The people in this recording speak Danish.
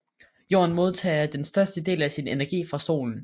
Jorden modtager den største del af sin energi fra solen